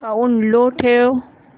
sound low ठेव